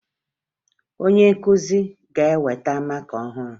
Onye nkụzi ga-eweta maka ọhụrụ